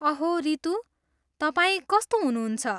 अहो रितू, तपाईँ कस्तो हुनुहुन्छ?